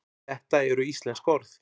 þetta eru íslensk orð